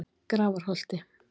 Grafarholti